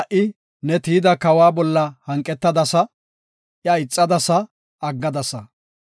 Shin ha77i ne tiyida kawa bolla hanqetadasa; iya ixadasa; aggadasa.